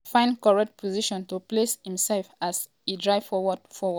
lookman find correct position to place imsef as e drive forward forward but di keeper stop am.